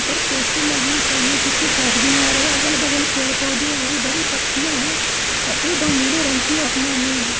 ऊपर पोस्टर लगी हुई सामने से कुछ आदमी आ रहे हैं अगल-बगल पेड़ पौधे हैं हरी-भरी पत्तीयां हैं सफेद और नीले रंग की असमाने हैं।